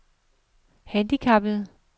handicappede